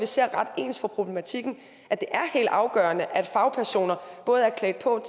ser ret ens på problematikken at det er helt afgørende at fagpersoner både er klædt på